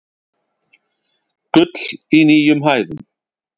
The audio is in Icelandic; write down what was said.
Gull í nýjum hæðum